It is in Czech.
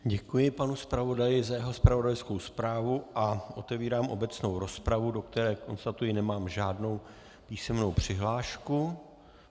Děkuji panu zpravodaji za jeho zpravodajskou zprávu a otevírám obecnou rozpravu, do které, konstatuji, nemám žádnou písemnou přihlášku.